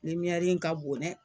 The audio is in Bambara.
in ka bon dɛ.